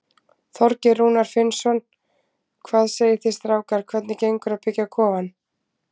Þorgeir Rúnar Finnsson: Hvað segið þið strákar, hvernig gengur að byggja kofann?